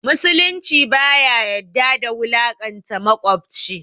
Musulunci baya yadda da wulaƙanta maƙwabci